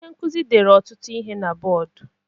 Onye nkuzi dere ọtụtụ ihe na bọdụ.